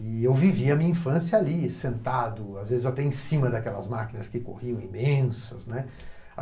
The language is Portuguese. E eu vivia a minha infância ali, sentado, às vezes até em cima daquelas máquinas que corriam imensas, né.